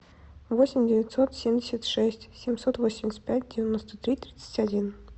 восемь девятьсот семьдесят шесть семьсот восемьдесят пять девяносто три тридцать один